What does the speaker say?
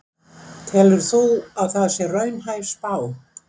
Telur þú að það sé raunhæf spá?